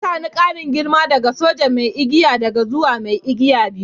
Ya sani ƙarin girma daga soja mai igiya daya zuwa mai igiya biyu.